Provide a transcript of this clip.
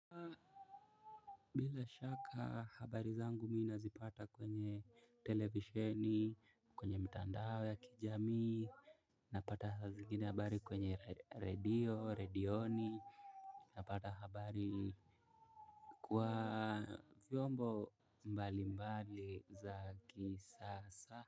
Bila shaka habari zangu mi nazipata kwenye televisheni, kwenye mitandao ya kijamii. Napata zingine habari kwenye radio, redioni. Napata habari kwa vyombo mbali mbali za kisasa.